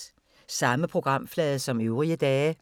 Samme programflade som øvrige dage